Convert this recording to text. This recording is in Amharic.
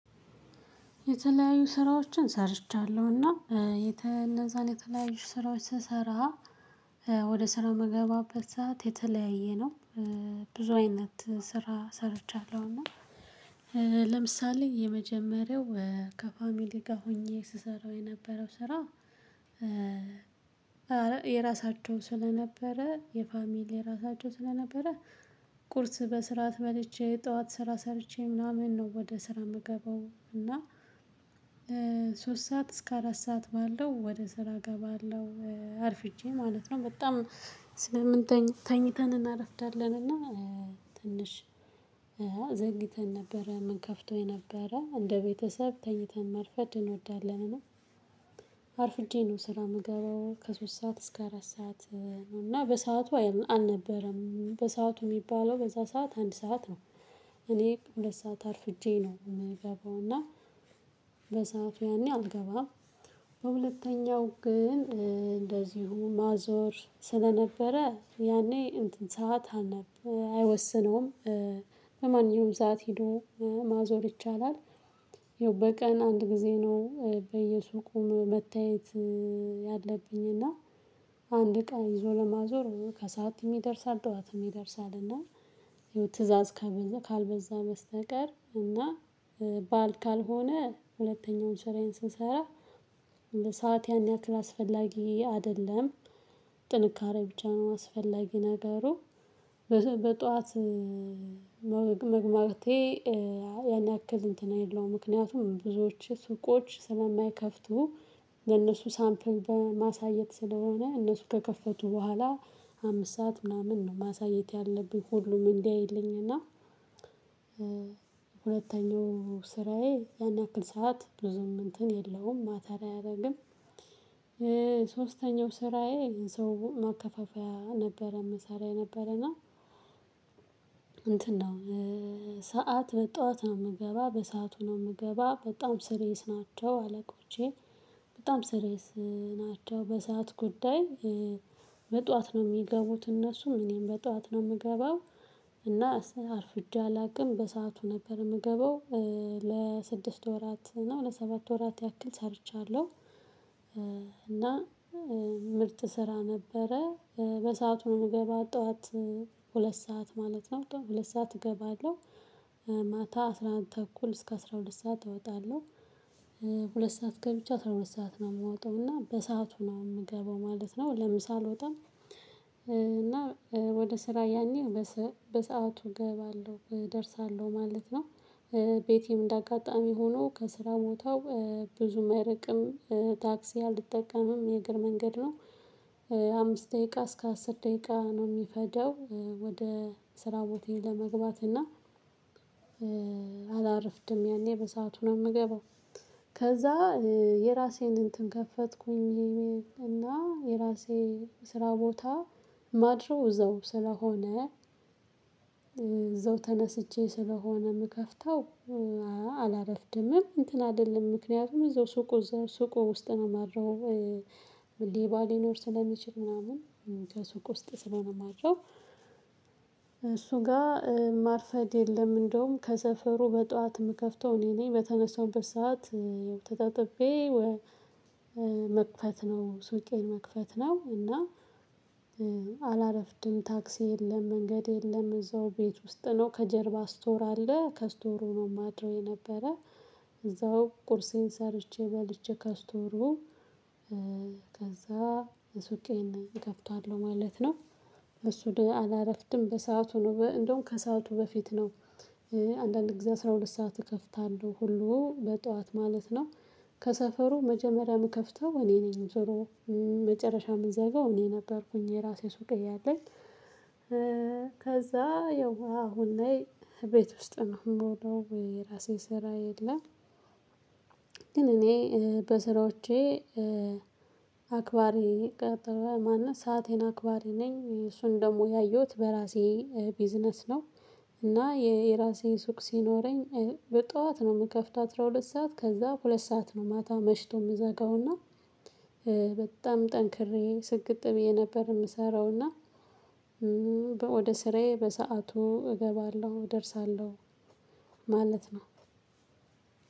የተለያዩ ስራዎችን ሰርቻለሁና እነዛን የተለያዩ ስራዎች ስሰራ ወደ ስራ መገባበት ሰዓት የተለያየ ነው። ብዙ አይነት ስራ ሰርቻለሁ እና ለምሳሌ የመጀመሪያው ከፋሚሊ ጋር ሆኜ ስሰራው የነበረው ስራ። የራሳቸው ስለነበረ የፋሚሊ የራሳቸው ስለነበረ ቁርስ በስርዓት መልቼ ጠዋት ስራ ሰርቼ ምናምን ነው ወደ ስራ የምገባው እና። ከሶስት ሰዓት እስከ አራት ሰዓት ባለው ወደ ስራ ገባለው አርፍጄ ማለት ነው። በጣም ስለምንተኝ ተኝተን እናረፍዳለን እና ትንሽ ዘንግይተን ነበረ ምን ከፍተው የነበረ እንደ ቤተሰብ ተኝተን መርፈድ እንወዳለን እና። አርፍጄ ነው ስራ የምገባው ከሶስት ሰዓት እስከ አራት ሰዓት ነው እና በሰአቱ አልነበረም በሰአቱ የሚባለው በዛ ሰዓት አንድ ሰዓት ነው። እኔ ሁለት ሰዓት አርፍጄ ነው የምገባው እና በሰአቱ ያኔ አልገባም። በሁለተኛው ግን እንደዚሁ ማዞር ስለነበረ ያኔ እንትን ሰዓት አልነበረም አይወስነውም። በማንኛውም ሰዓት ሄዶ ማዞር ይቻላል። ይኸው በቀን አንድ ጊዜ ነው በየሱቁም መታየት። ያለብኝ እና አንድ እቃን ይዞ ለማዞር ከሰአትም ይደርሳል ጠዋትም ይደርሳል እና። ትእዛዝ ካልበዛ በስተቀር እና በዓል ካልሆነ ሁለተኛውን ስራዬን ስንሰራ እንደ ሰዓት ያን ያክል አስፈላጊ አይደለም። ጥንካሬ ብቻ ነው አስፈላጊ ነገሩ። በጧት መግባቴ ያን ያክል እንትን የለውም ምክንያቱም ብዙዎች ሱቆች ስለማይከፍቱ ለእነሱ ሳምፕል በማሳየት ስለሆነ እነሱ ከከፈቱ በኋላ አምስት ሰዓት ምናምን ነው ማሳየት ያለብኝ ሁሉም እንዲያይልኝ እና። ሁለተኛው ስራዬ ያን ያክል ሰዓት ብዙም እንትን የለውም ማተር አያደርግም። ሶስተኛው ስራዬ የሰው መከፋፈያ ነበረ ምሰራ ነበረና እንትን ነው። ሰዓት በጧት ነው የምገባ በሰአቱ ነው የምገባ በጣም ሲርየስ ናቸው አለቆቼ። በጣም ሲርየስ ናቸው በሰአት ጉዳይ። በጧት ነው የሚገቡት እነሱም እኔም በጧት ነው የምገባው እና አርፍጄ አላቅም በሰአቱ ነበር የምገባው። ለስድስት ወራት ነው ለሰባት ወራት ያክል ሰርቻለሁ። እና ምርጥ ስራ ነበረ። በሰአቱ ነው የምገባው ጠዋት ሁለት ሰዓት ማለት ነው ሁለት ሰዓት እገባለሁ ማታ አስራ አንድ ተኩል እስከ አስራ ሁለት ሰዓት እወጣለሁ። ሁለት ሰዓት ገብቼ አስራ ሁለት ሰዓት ነው የምወጣው እና በሰአቱ ነው የምገባው ማለት ነው። ለምሳ ወጣም እና ወደ ስራ ያኔ በሰአቱ እገባለሁ እደርሳለሁ ማለት ነው። ቤቴም እንደ አጋጣሚ ሆኖ ከስራ ቦታው ብዙም አይርቅም ታክሲ አልይጠቀምም የእግር መንገድ ነው። አምስት ደቂቃ እስከ አስር ደቂቃ ነው የሚፈጀው ወደ ስራ ቦታ ለመግባት እና። አላረፍድም ያኔ በሰአቱ ነው የምገባው። ከዛ የራሴን እንትን ከፈትኩኝ። እና የራሴ ስራ ቦታ ማድረው እዛው ስለሆነ። እዛው ተነስቼ ስለሆነ የምከፍተው። አላረፍድምም እንትን አይደለም ምክንያቱም እዛው ሱቁ ሱቁ ውስጥ ነው የማድረው። ሌባ ሊኖር ስለሚችል ምናምን ከሱቅ ውስጥ ስለሆነ ማድረው። እሱ ጋር ማርፈድ የለም እንደውም ከሰፈሩ በጧት የምከፍተው እኔ ነኝ በተነሳሁበት በስራ ሰዓት ተጣጥቤ። መክፈት ነው ሱቄን መክፈት ነው እና። አላረፍድም ታክሲ የለም መንገድ የለም እዛው ቤት ውስጥ ነው ከጀርባ ስቶር አለ ከስቶሩ ነው ማድረው የነበረ። እዛው ቁርሴን ሰርቼ በልቼ ከስቶሩ ከዛ ሱቄን እከፍታለሁ ማለት ነው። እሱ አላረፍድም በሰአቱ ነው እንደውም ከሰአቱ በፊት ነው። አንዳንድ ጊዜ አስራ ሁለት ሰዓት እከፍታለሁ ሁሉ በጧት ማለት ነው። ከሰፈሩ መጀመሪያ የምከፍተው እኔ ነኝ። መጨረሻ የምዘጋው እኔ ነበርኩኝ የራሴ ሱቅ እያለኝ። ከዛ እየው አሁን ላይ ቤት ውስጥ ነው የምውለው የራሴ ስራ የለም። ግን እኔ በስራዎቼ አክባሬ ቀጠለ ማንነት ሰአቴን አክባሬ ነኝ እሱን ደግሞ ያየሁት በራሴ ቢዝነስ ነው። እና የራሴ ሱቅ ሲኖረኝ በጠዋት ነው የምከፍት አስራሁለት ሰዓት ከዛ ሁለት ሰዓት ነው ማታ መሽቶ የምዘጋውና። በጣም ጠንክሬ ስግጥ ብዬ ነበር የምሰራው እና። ወደ ስራዬ በሰአቱ እገባለሁ እደርሳለሁ። ማለት ነው።